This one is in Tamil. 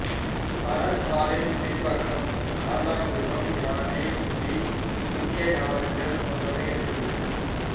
பணத்தாளின் பின்பக்கம் காண்டாமிருகம் யானை புலி இந்தியத் தாவரங்கள் போன்றவை இடம்பெற்றுள்ளன